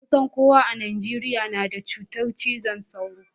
Kusan kowa a Najeriya na da cutar cizon sauro.